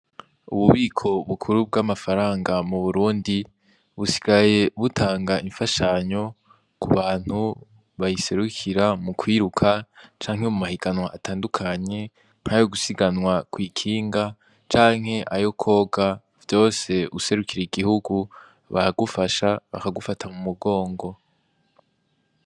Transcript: Ububiko bukuru bw'amafaranga mu Burundi, busigaye butanga imfashanyo ku bantu bayiserukira mu kwiruka canke mu mahiganwa atandukanye, nk'ayo gusiganwa kw'ikinga canke kwoga, vyose userukira igihugu, baragufasha, bakagufata mumugongo.